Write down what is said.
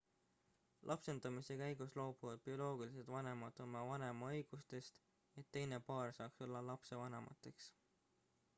lapsendamise käigus loobuvad bioloogilised vanemad oma vanemaõigustest et teine paar saaks olla lapse vanemateks